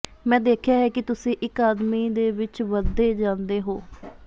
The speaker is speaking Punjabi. ਮੈਂ ਦੇਖਿਆ ਹੈ ਕਿ ਤੁਸੀਂ ਇੱਕ ਆਦਮੀ ਦੇ ਵਿੱਚ ਵਧਦੇ ਜਾਂਦੇ ਹੋ